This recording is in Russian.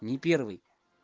не первый